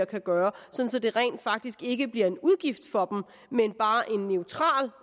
kan gøre sådan at det rent faktisk ikke bliver en udgift for dem men bare en neutral